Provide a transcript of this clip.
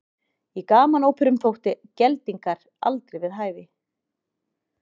Í gamanóperum þóttu geldingar aldrei við hæfi.